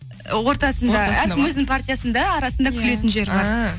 ортасында әркім өз партиясында арасында күлетін жері бар ааа